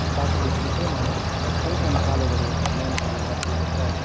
बाटोको छेउ छेउमा सानो सानो कालोबड़े ल्याम्प हरु राखिएको छ।